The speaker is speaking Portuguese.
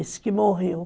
Esse que morreu.